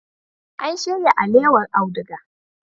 An shirya alewar auduga.